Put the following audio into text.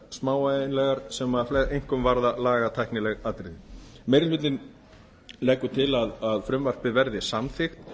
smávægilegar sem einkum varða lagatæknileg atriði meiri hlutinn leggur til að frumvarpið verði samþykkt